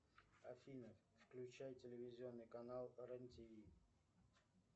афина включай телевизионный канал рен тв